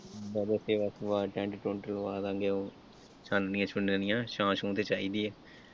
ਵੈਸੇ ਸੇਵਾ ਸੁਵਾ ਟੈਂਟ ਟੁਂਟ ਲਵਾਵਾਂਗੇ ਚਾਨਣੀਆਂ ਚੁਨਣੀਆਂ ਛਾਂ ਛੂਂਂ ਤੇ ਚਾਹੀਦੀ ਹੈ।